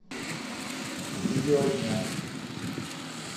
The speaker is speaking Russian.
видео дня